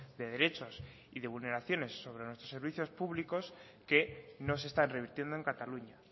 de derechos y de vulneraciones sobre nuestros servicios públicos que no se están revirtiendo en cataluña